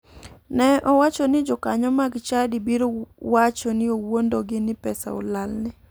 Ne owacho ni jokanyo mag chadi biro wacho ni owuondogi ni pesa olalne.